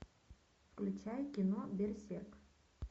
включай кино берсерк